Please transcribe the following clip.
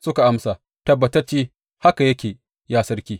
Suka amsa, Tabbatacce haka yake ya sarki.